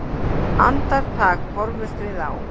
Andartak horfumst við á.